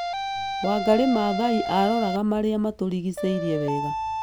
Wangari Maathai aroraga marĩa matũrigicĩirie wega,